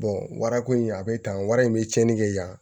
wara ko in a be tan wari in be cɛni kɛ yan